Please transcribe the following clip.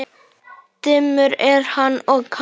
Dimmur er hann og kaldur.